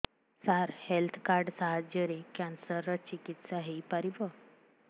ସାର health card ସାହାଯ୍ୟରେ cancer ର ଚିକିତ୍ସା ହେଇପାରିବ